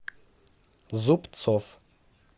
зубцов